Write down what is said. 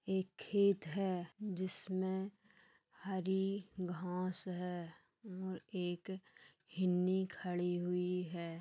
एक खेत है जिसमें हरी घास है और एक हिरनी खड़ी हुई है।